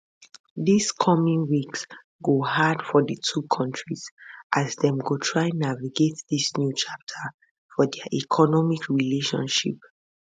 dis coming weeks go hard for di two kontris as dem go try navigate dis new chapter for dia economic relationship